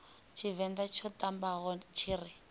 tshivenḓa tsho ṱambaho tshi ri